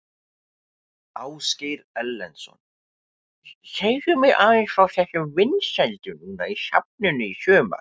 Ásgeir Erlendsson: Segðu mér aðeins frá þessum vinsældum núna í safninu í sumar?